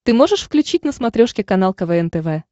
ты можешь включить на смотрешке канал квн тв